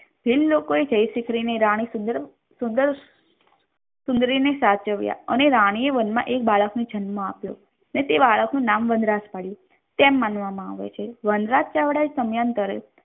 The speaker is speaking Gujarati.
જે લોકોએ જયશિખરી ની રાણી રૂપસુંદરી સુદર્શન રૂપસુંદરી ને સાચવે અને રાણીએ વનમાં એક બાળકને જન્મ આપ્યો અને તે બાળકનું નામ વનરાજ પાડ્યું તેમ માનવામાં આવે છે વનરાજ ચાવડા સમાનતારે